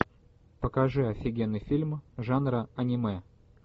покажи офигенный фильм жанра аниме